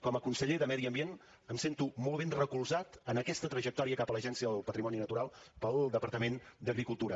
com a conseller de medi ambient em sento molt ben recolzat en aquesta trajectòria cap a l’agència del patrimoni natural pel departament d’agricultura